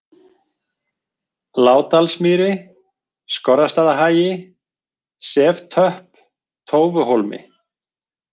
Lágdalsmýri, Skorrastaðahagi, Seftöpp, Tófuhólmi